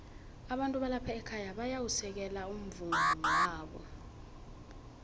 abantu balapha ekhaya bayau u sekelo umvumowala